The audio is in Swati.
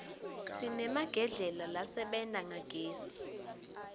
sinemagedlela lasebenta ngagezi